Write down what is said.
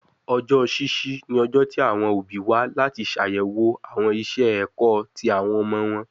Ọjọ ṣiṣi ni ọjọ ti awọn obi wa lati ṣayẹwo awọn iṣẹ ẹkọ ti awọn ọmọ wọn